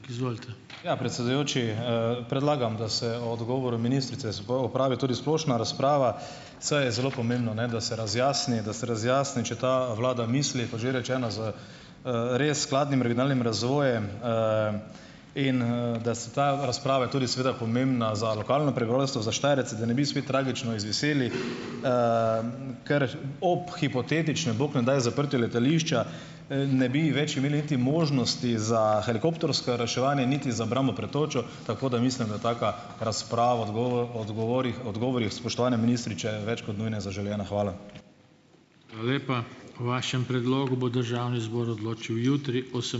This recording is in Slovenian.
Ja, predsedujoči, predlagam, da se o odgovoru ministrice opravi tudi splošna razprava, saj je zelo pomembno, ne, da se razjasni, da se razjasni, če ta vlada misli, kot že rečeno, z, res s skladnim regionalnim razvojem. in, da se ta, razprava je tudi seveda pomembna za lokalno prebivalstvo, za Štajerce, da ne bi spet tragično izviseli, ker že ob hipotetičnem, bog ne daj, zaprtju letališča, ne bi več imeli niti možnosti za helikoptersko reševanje niti za obrambo pred točo, tako da mislim, da taka razprava odgovorih, odgovorih, spoštovani ministri, če je več kot nujno zaželena. Hvala.